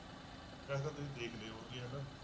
ਵੈਸੇ ਤਾਂ ਤੁਸੀਂ ਦੇਖ ਲਏ ਹੋਣਗੇ ਹਨਾ।